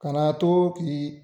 Kana to k'i